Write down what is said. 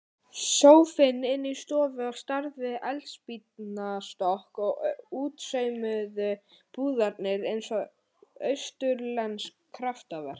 Sófinn inni í stofu á stærð við eldspýtnastokk og útsaumuðu púðarnir eins og austurlensk kraftaverk.